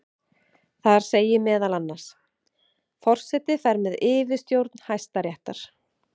Þar segir meðal annars: Forseti fer með yfirstjórn Hæstaréttar.